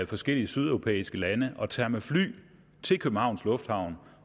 forskellige sydeuropæiske lande og tager med fly til københavns lufthavn